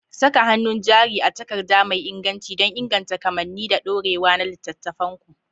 Saka hannun jari a takarda mai inganci don inganta kamanni da dorewa na littattafanku.